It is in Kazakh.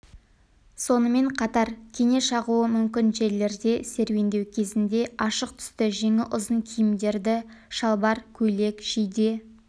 сонымен қатар кене шағуы мүмкін жерлерде серуендеу кезінде ашық түсті жеңі ұзын киімдерді шалбар көйлек жейде